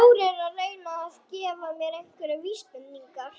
Þór er að reyna að gefa mér einhverjar vísbendingar.